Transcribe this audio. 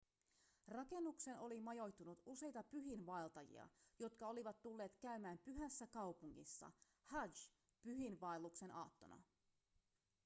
rakennukseen oli majoittunut useita pyhiinvaeltajia jotka olivat tulleet käymään pyhässä kaupungissa hadž-pyhiinvaelluksen aattona